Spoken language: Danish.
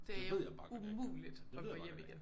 Det jo umuligt at gå hjem igen